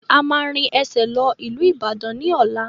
A máa rìn ẹsẹ̀ lọ ìlú Ìbàdàn ni ọ̀la.